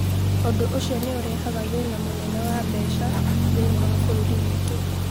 Ũndũ ũcio nĩ ũrehaga thĩna mũnene wa mbeca thĩinĩ wa bũrũri witũ